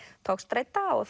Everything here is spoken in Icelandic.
togstreita og